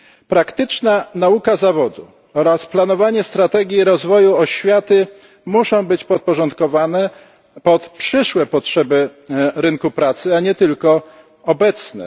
Praktyczna nauka zawodu oraz planowanie strategii rozwoju oświaty muszą być podporządkowane przyszłym potrzebom rynku pracy, a nie tylko obecnym.